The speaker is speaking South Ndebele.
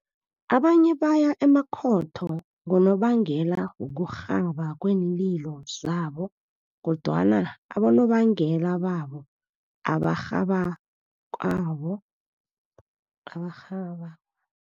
Abanye baya emakhotho ngonobangela wokurhaba kweenlilo zabo kodwana abonobangela babo abarhabakwabo abarhaba